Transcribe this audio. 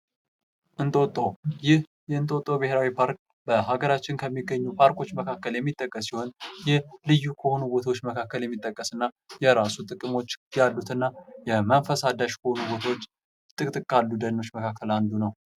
እንጦጦ፦ ይህ የእንጦጦ ብሔራዊ ፓርክ በሀገራችን ከሚገኙ ፓርኮቹ መካከል የሚጠቀስ ሲሆን ይህ ልዩ ከሆኑ ቦታዎች መካከል የሚጠቀስ እና የራሱ ጥቅሞች ያሉት እና የመንፈስ አዳሽ በሆኑ ቦታዎች ጥቅጥቅ ካሉ ደኖች መካከል አንዱ ነው።